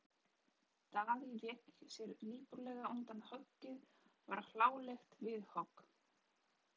Daði vék sér lipurlega undan og höggið varð hlálegt vindhögg.